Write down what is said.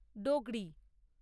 Dogri.